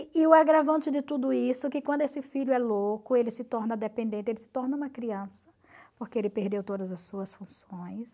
E o agravante de tudo isso é que quando esse filho é louco, ele se torna dependente, ele se torna uma criança, porque ele perdeu todas as suas funções.